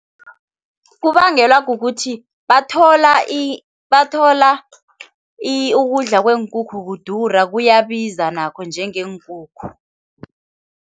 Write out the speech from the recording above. Kubangelwa kukuthi bathola bathola ukudla kweenkukhu kudura, kuyabiza nakho njengeenkukhu.